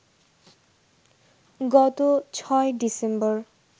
গত ৬ ডিসেম্বর